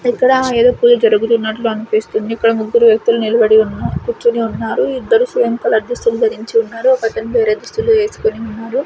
ఇక్కడ ఏదో పూజ జరుగుతున్నట్లు అనిపిస్తుంది ఇక్కడ ముగ్గురు వ్యక్తులు నిలబడి ఉన్నారు కూర్చొని ఉన్నారు ఇద్దరు సేమ్ కలర్ దుస్తువులు ధరించి ఉన్నారు ఒక అతను వేరే దుస్తులు వేసుకొని ఉన్నారు.